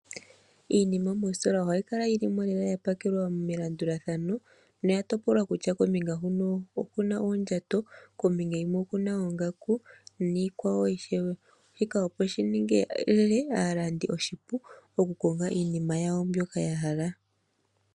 Iinima moostola ohayi kala yili mo yapakelwa lela melandulathano noya topolwa kutya kombinga huno okuna oondjato kombinga onkwawo okuna oongaku niikwawo ishewe, opo shiningile aalandi oshipu okukonga iinima yawo ndjoka yahala.